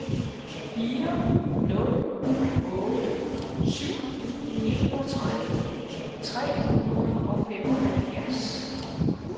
fire nul otte syv enogtredive tre hundrede og femoghalvfjerds